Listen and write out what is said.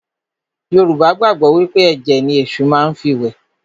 Yorùbá gbàgbọ́ wí pé ẹ̀jẹ̀ ni Èṣù má fi ń wẹ̀